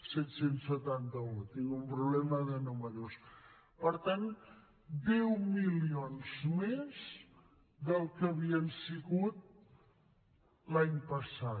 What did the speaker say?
set cents i setanta un tinc un problema de números per tant deu milions més dels que havien sigut l’any passat